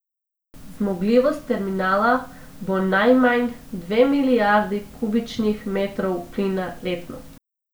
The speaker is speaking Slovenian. Zmogljivost terminala bo najmanj dve milijardi kubičnih metrov plina letno.